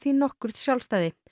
nokkurt sjálfstæði